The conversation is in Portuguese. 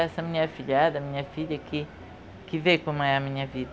Essa minha filhada, minha filha que, que vê como é a minha vida.